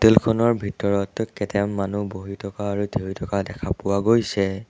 খনৰ ভিতৰত কেইটামান মানুহ বহি থকা আৰু থিয় হৈ থকা দেখা পোৱা গৈছে।